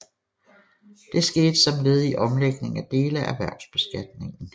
Det skete som led i omlægning af dele af erhvervsbeskatningen